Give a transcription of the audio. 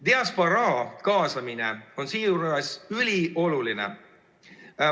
Diasporaa kaasamine on seejuures ülioluline.